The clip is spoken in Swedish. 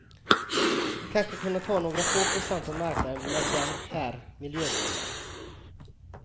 Kanske kunna ta några få procent av marknaden med den här miljöblöjan.